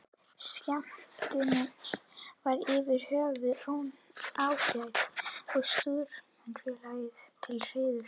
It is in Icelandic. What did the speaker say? Skemmtunin var yfir höfuð ágæt og Stúdentafélaginu til heiðurs.